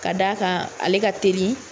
Ka d' a kan ale ka teli